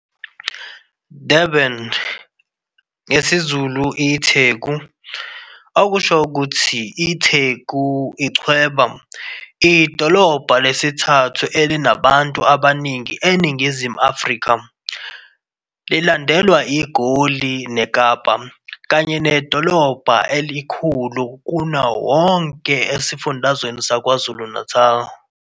Durban ngesiZulu iTheku, okusho ukuthi "itheku, ichweba" idolobha lesithathu elinabantu abaningi eNingizimu Afrika, lilandela iGoli neKapa, kanye nedolobha elikhulu kunawo wonke esifundazweni saKwaZulu-Natali.